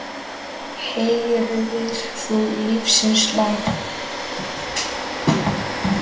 Heyrðir þú lífsins lag?